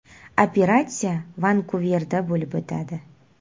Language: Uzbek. Operatsiya Vankuverda bo‘lib o‘tadi.